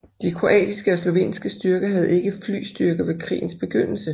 De kroatiske og slovenske styrker havde ikke flystyrker ved krigens begyndelse